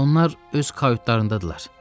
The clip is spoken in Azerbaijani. Onlar öz kayutlarındadırlar.